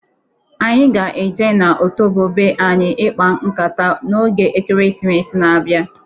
Anyị ga-e je na otobo be anyị ịkpa nkata n'oge Ekeresimesi na-abịa.